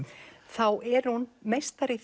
þá er hún meistari í